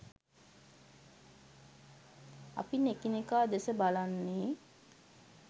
අපි එකිනෙකා දෙස බලන්නෙ